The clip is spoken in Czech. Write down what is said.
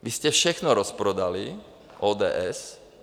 Vy jste všechno rozprodali, ODS.